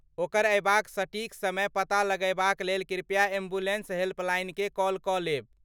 ओकर अयबाक सटीक समय पता लगयबाक लेल कृपया एम्बुलेन्स हेल्पलाइनकेँ कॉल कऽ लेब ।